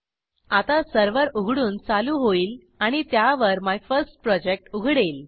आता सर्व्हर उघडून चालू होईल आणि त्यावर माय फर्स्ट प्रोजेक्ट उघडेल